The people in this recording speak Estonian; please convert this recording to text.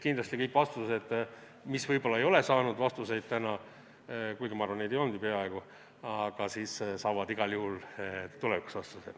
Kindlasti kõik küsimused, mis võib-olla ei ole saanud vastuseid täna – kuigi ma arvan, et neid ei olnudki peaaegu –, saavad igal juhul tulevikus vastused.